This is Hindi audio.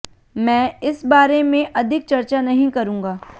मैं इस बारे में अधिक चर्चा नहीं करूंगा